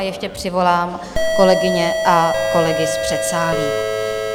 A ještě přivolám kolegyně a kolegy z předsálí.